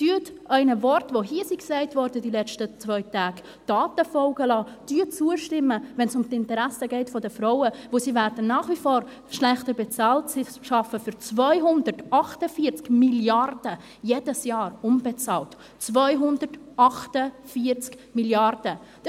Lassen Sie Ihren Worten, die hier in den letzten zwei Tagen gesagt wurden, Taten folgen: Stimmen Sie zu, wenn es um die Interessen der Frauen geht, denn sie werden nach wie vor schlechter bezahlt, und sie arbeiten jedes Jahr für 248 Mrd. Franken unbezahlt – 248 Mrd. Franken!